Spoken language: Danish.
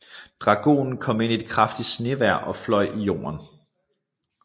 Dragonen kom ind i et kraftigt snevejr og fløj i jorden